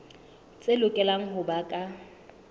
tse lokelang ho ba ka